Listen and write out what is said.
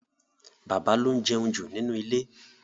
Bàbá ló ń jẹun jù nínú ilé.